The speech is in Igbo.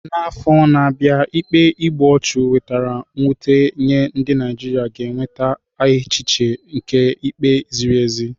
N'afọ na-abịa, ikpe igbu ọchụ wetara mwute nye ndị Naijiria ga-enweta echiche nke ikpe ziri ezi.